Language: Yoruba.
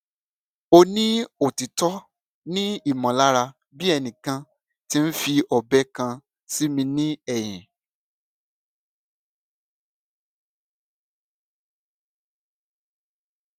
o ni otitọ ni imọlara bi ẹnikan ti n fi ọbẹ kan si mi ni ẹhin